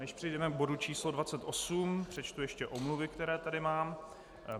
Než přejdeme k bodu číslo 28, přečtu ještě omluvy, které tady mám.